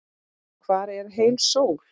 Hvar er heil sól?